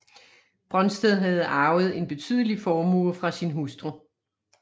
Brøndsted havde arvet en betydelig formue fra sin hustru